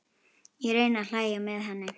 Ég reyni að hlæja með henni.